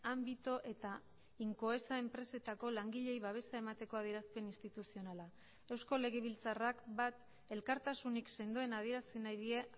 ámbito eta incoesa enpresetako langileei babesa emateko adierazpen instituzionala eusko legebiltzarrak bat elkartasunik sendoen adierazi nahi die